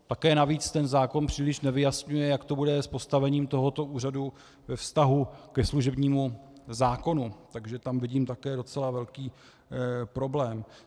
Také navíc ten zákon příliš nevyjasňuje, jak to bude s postavením tohoto úřadu ve vztahu ke služebnímu zákonu, takže tam vidím také docela velký problém.